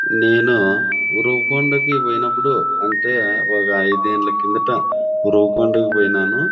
నేను ఉరవకొండకి పోయినప్పుడు అంటే ఒక ఐదేళ్ల కిందట ఉరవ కొండకు పోయిన్నాను.